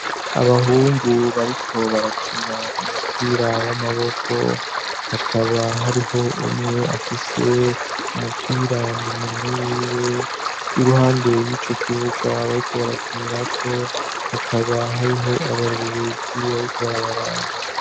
Abahungu bariko barakina umupira w'amaboko, hakaba hariho umwe afise umupira mu minwe yiwe, iruhande y'ico kibuga bariko barakinirako hakaba hariho abarorerezi bariko barabaraba.